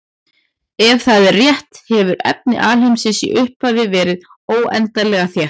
Ef það er rétt hefur efni alheimsins í upphafi verið óendanlega þétt.